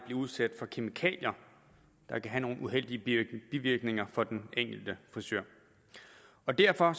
blive udsat for kemikalier der kan have nogle uheldige bivirkninger for den enkelte frisør derfor